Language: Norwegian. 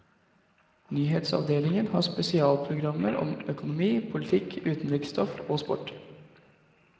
Nyhetsavdelingen har spesialprogrammer om økonomi, politikk, utenriksstoff og sport.